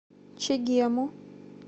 чегему